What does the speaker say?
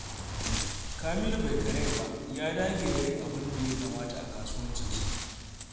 Kamilu bai karaya ba, ya dage da yin abinda ya kamata a kasuwancinsa.